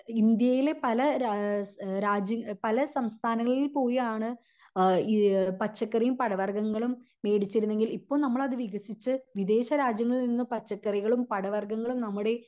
ഇന്ത്യയിലെ പല ഏഹ് രാജ്യ പല സംസ്ഥാങ്ങളിൽ പോയി ആണ് അഹ് ഇ പച്ചക്കറിയും പഴവർഗങ്ങളും മേടിച്ചിരുന്നെങ്കിൽ ഇപ്പൊ നമ്മൾ അത് വികസിച്ച് വിദേശ രാജ്യങ്ങളിൽ നിന്ന് പച്ചക്കറികളും പഴവർഗങ്ങളും നമ്മുടെ